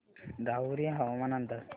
राहुरी हवामान अंदाज